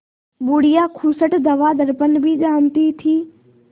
बुढ़िया खूसट दवादरपन भी जानती थी